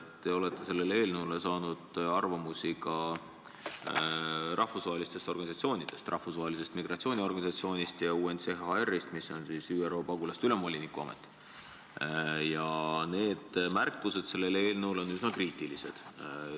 Te olete selle eelnõu kohta saanud arvamusi ka rahvusvahelistest organisatsioonidest – Rahvusvahelisest Migratsiooniorganisatsioonist ja UNHCR-ist, mis on siis ÜRO Pagulaste Ülemvoliniku Amet – ja need arvamused on üsna kriitilised.